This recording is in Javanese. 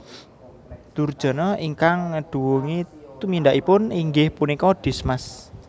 Durjana ingkang ngeduwungi tumindakipun inggih punika Dismas